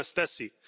De nem ezt teszi.